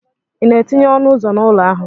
Ị na-etinye ọnụ ụzọ n'ụlọ ahụ?